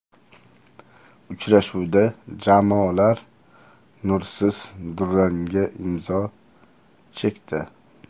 Uchrashuvda jamoalar nursiz durangga imzo chekdi.